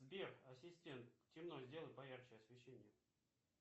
сбер ассистент темно сделай поярче освещение